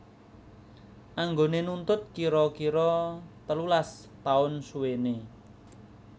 Anggone nuntut kira kira telulas taun suwene